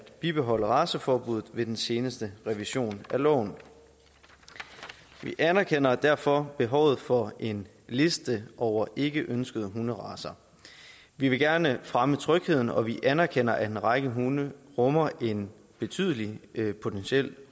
bibeholde raceforbuddet ved den seneste revision af loven vi anerkender derfor behovet for en liste over ikkeønskede hunderacer vi vil gerne fremme trygheden og vi anerkender at en række hunde rummer en betydelig potentiel